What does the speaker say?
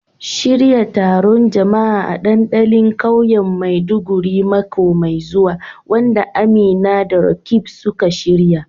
Shirya taron jama'a a dandalin kauyen Maiduguri mako mai zuwa, wanda Amina da Roqeeb suka shirya.